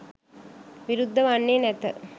විරුද්ධ වන්නේ නැත